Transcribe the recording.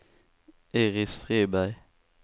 Iris Friberg